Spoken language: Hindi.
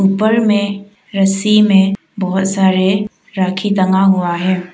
ऊपर में रस्सी में बहौत सारे राखी टंगा हुआ है।